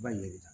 Ba in de la